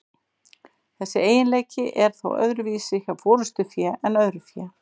Þessi eiginleiki er þó öðruvísi hjá forystufé en öðru fé.